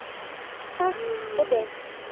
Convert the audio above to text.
Kalt og dimmt.